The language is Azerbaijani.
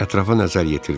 Ətrafa nəzər yetirdilər.